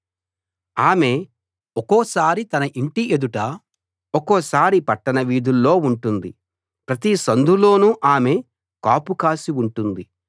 ఆమె ఒక్కోసారి తన ఇంటి ఎదుట ఒక్కోసారి పట్టణ వీధుల్లో ఉంటుంది ప్రతి సందులోనూ ఆమె కాపు కాసి ఉంటుంది